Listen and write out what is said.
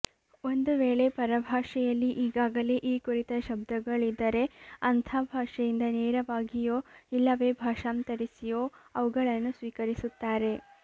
ಒಂದು ವೇಳೆ ಪರಭಾಷೆಯಲ್ಲಿ ಈಗಾಗಲೇ ಈ ಕುರಿತ ಶಬ್ದಗಳಿದ್ದರೆ ಅಂಥ ಭಾಷೆಯಿಂದ ನೇರವಾಗಿಯೋ ಇಲ್ಲವೇ ಭಾಷಾಂತರಿಸಿಯೋ ಅವುಗಳನ್ನು ಸ್ವೀಕರಿಸುತ್ತಾರೆ